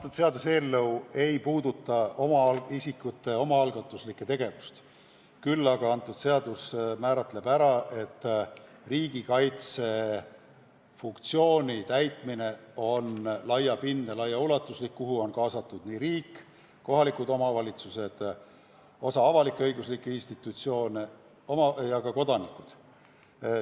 See seaduseelnõu ei puuduta isikute omaalgatuslikku tegevust, küll aga määratleb, et riigikaitsefunktsiooni täitmine on laiapindne ja laiaulatuslik, sinna on kaasatud nii riik, kohalikud omavalitsused, osa avalik-õiguslikke institutsioone ja ka kodanikud.